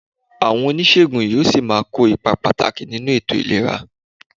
Àwọn oníṣègùn yóò ṣì máa kó ipa pàtàkì nínú ètò ìlera